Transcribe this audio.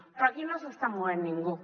però aquí no s’està movent ningú